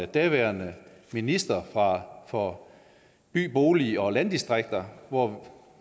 daværende minister for by bolig og landdistrikter hvor